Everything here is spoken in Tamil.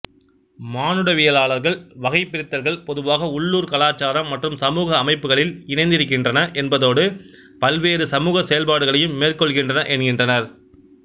மானுடவியலாளர்கள் வகைபிரித்தல்கள் பொதுவாக உள்ளூர் கலாச்சாரம் மற்றும் சமூக அமைப்புக்களில் இணைந்திருக்கின்றன என்பதோடு பல்வேறு சமூக செயல்பாடுகளையும் மேற்கொள்கின்றன என்கின்றனர்